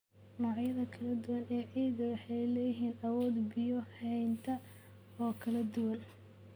Noocyada kala duwan ee ciidda waxay leeyihiin awood biyo haynta oo kala duwan.